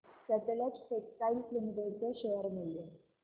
Sutlej textiles limited चे share मूल्य